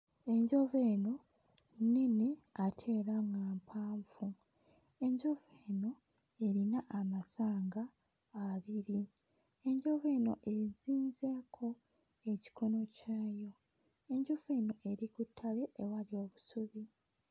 Enjovu eno nnene ate era nga mpanvu. Enjovu eno erina amasanga abiri. Enjovu eno ezinzeeko ekikono kyayo. Enjovu eno eri ku ttale ewali obusubi.